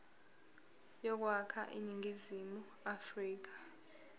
yokwakha iningizimu afrika